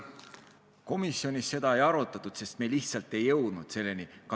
Komisjonis seda ei arutatud, sest me lihtsalt ei jõudnud selleni.